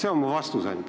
See on mu vastus ainult.